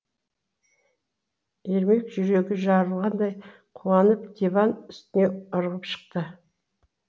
ермек жүрегі жарылғандай қуанып диван үстіне ырғып шықты